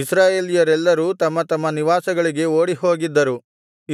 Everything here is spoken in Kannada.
ಇಸ್ರಾಯೇಲ್ಯರೆಲ್ಲರೂ ತಮ್ಮ ತಮ್ಮ ನಿವಾಸಗಳಿಗೆ ಓಡಿ ಹೋಗಿದ್ದರು